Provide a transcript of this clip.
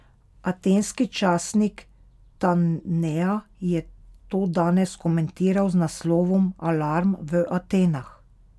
Atenski časnik Ta Nea je to danes komentiral z naslovom Alarm v Atenah.